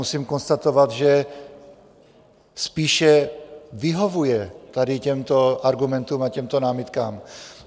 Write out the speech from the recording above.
Musím konstatovat, že spíše vyhovuje tady těmto argumentům a těmto námitkám.